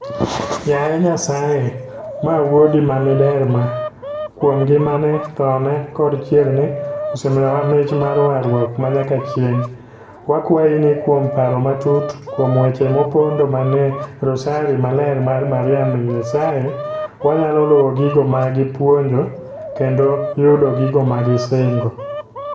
Yaye Nyasaye, ma Wuodi ma miderma, kuom ngimane, thone, kod chierne, osemiyowa mich mar warruok manyaka chieng'; wakwayi ni, kuom paro matut kuom weche mopondo manie Rosari maler mar Mariam Min Nyasaye, wanyalo luwo gigo ma gipuonjo, kendo yudo gigo ma gisingo.